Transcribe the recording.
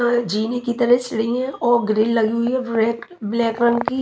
जीने की तरह सीडी हैऔर ग्रिल लगी हुई हैब्लैक रंग की।